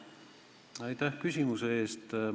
Aitäh küsimuse eest!